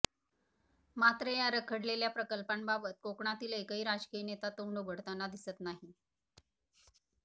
मात्र या रखडलेल्या प्रकल्पांबाबत कोकणातील एकही राजकीय नेता तोंड उघडताना दिसत नाही